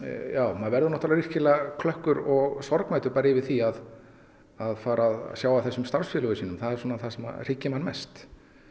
maður verður náttúrulega virkilega klökkur og sorgmæddur bara yfir því að að fara að sjá af þessum starfsfélögum sínum það er svona það sem hryggir mann mest